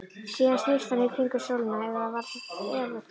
Síðan snýst hann í kringum sólina, eða var það öfugt?